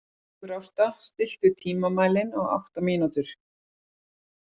Sigurásta, stilltu tímamælinn á átta mínútur.